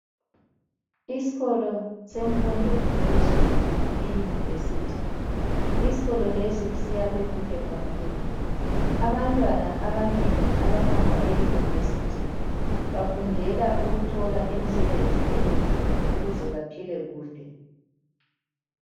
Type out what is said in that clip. Isikolo semfundo yaphezulu eYunivesithi. Isikolo lesi siyakhiwe kuhle kakhulu. Abantwana abanengi abahamba eYunivesithi bafundela ukuthola imsebenzi emihle ukuze baphile kuhle.